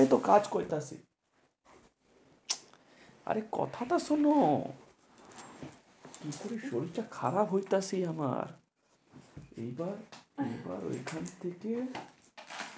এইতো কাজ করতাছি। আরে কথা টা শোনো, কিসের শরীরটা খারাপ হইতাছে আমার। এইবার এইবার ঐখান থেকে